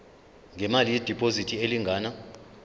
ngemali yediphozithi elingana